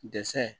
Dɛsɛ